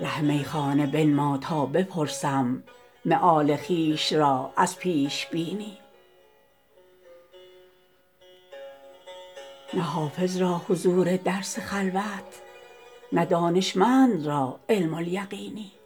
ره میخانه بنما تا بپرسم مآل خویش را از پیش بینی نه حافظ را حضور درس خلوت نه دانشمند را علم الیقینی